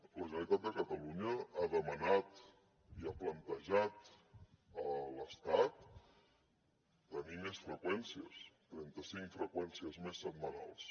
la generalitat de catalunya ha demanat i ha plantejat a l’estat tenir més freqüències trenta cinc freqüències més setmanals